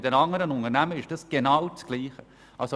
Bei den anderen Unternehmen ist es genau dasselbe.